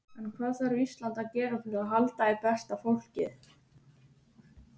En hvað þarf Ísland að gera til að halda í besta fólkið?